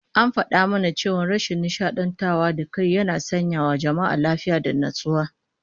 An fada mana cewa ashin nishadantar da kai yana sanyawa jama'a lafiya da natsuwa